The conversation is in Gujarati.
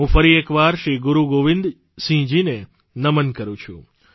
હું ફરી એક વાર શ્રી ગુરૂગોવિંદ સિંહજીને નમન કરૂં છું